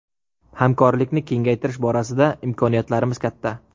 Hamkorlikni kengaytirish borasida imkoniyatlarimiz katta.